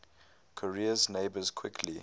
korea's neighbours quickly